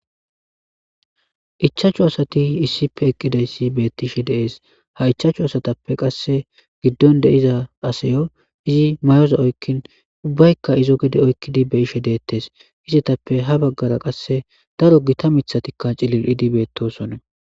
ichaachchu asati issippe eqqidayssi beettishe deees ha ichaachchu asatappe qasse giddon deiza asayo izi mayoza oykkin ubbaykka izo gede oykkidi be ishe deettes hisetappe ha baggara qasse daro gita mithatikka cilil idibeettosone